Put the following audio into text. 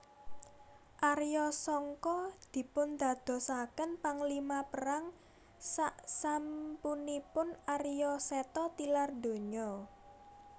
Arya Sangka dipundadosaken panglima perang saksampunipun Arya Seta tilar donya